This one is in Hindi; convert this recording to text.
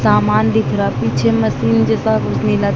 सामान दिख रहा है। पीछे मशीन जैसा कुछ नीला--